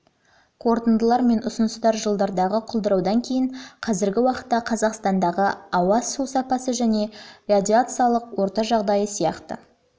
қорытындылар мен ұсыныстар жылдардағы құлдыраудан кейін қазіргі уақытта қазақстандағы ауа су сапасы және радиациялық орта жағдайы сияқты